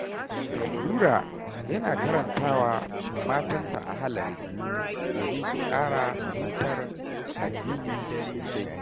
Nura yana karanta wa matansa Ahalari, domin su ƙara fahimtar addini sosai.